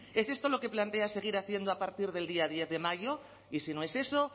es esto lo que plantea seguir haciendo a partir del día diez de mayo y si no es eso